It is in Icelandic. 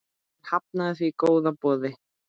Hann hafnaði því góða boði.